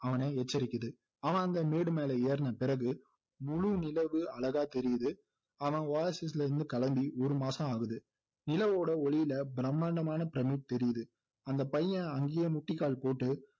அவனை எச்சரிக்குது அவன் அந்த மேடுமேல ஏறுன பிறகு முழு நிலவு அழகா தெரியுது அவன் இருந்து கிளம்பி ஒரு மாசம் ஆகுது நிலவோடஒளியில பிரமாண்டமான பிரமிடு தெரியுது அந்த பையன் அங்கேயே முட்டிக்கால் போட்டு